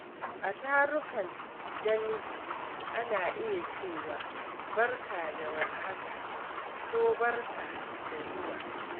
A tarukan dangi, ana iya cewa "Barka da war haka" ko "Barka da zuwa."